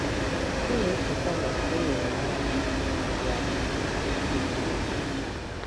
M na-echeta na enwere m ọṅụ na-enweghị atụ na ike dị n'ime.